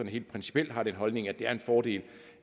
helt principielt har den holdning at det er en fordel